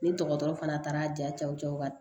Ni dɔgɔtɔrɔ fana taara jaw cɛ